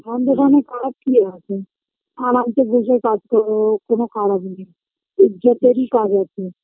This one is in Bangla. আমদের এখানে কাজ কি আছে আর আমিতো বসে কাজ করবো কোনো খারাপ নেই ইজ্জতেরই কাজ আছে